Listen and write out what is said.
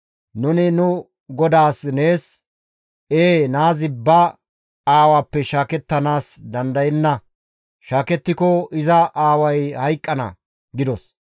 Nuni nu godaas nees, ‹Ee naazi ba aawappe shaakettanaas dandayenna; shaakettiko iza aaway hayqqana› gidos.